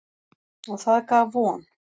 Og það gaf von.